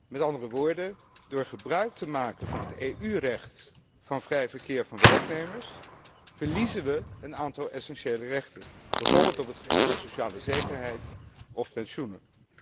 Met andere woorden, door gebruik te maken van het EU recht van vrij verkeer van werknemers, verliezen we een aantal essentiële rechten, bijvoorbeeld op het gebied van sociale zekerheid of pensioenen.